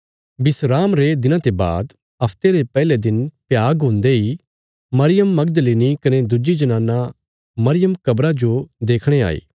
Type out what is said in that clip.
विस्राम रे दिना ते बाद हफ्ते रे पैहले दिन भ्याग हुन्दे इ मरियम मगदलिनी कने दुज्जी जनाना मरियम कब्रा जो देखणे आई